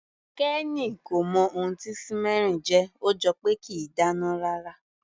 Kenny kò mọ ohun tí simmering jẹ́, ó jọ pé kìí dáná rárá.